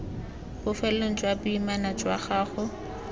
bofelong jwa boimana jwa gago